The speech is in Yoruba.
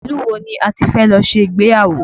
Ilu wo ni a ti fẹ́ lọ ṣe ìgbéyàwó?